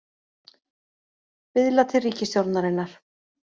Biðla til ríkisstjórnarinnar